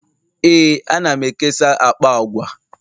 ee, ana m ekesa akpa agwa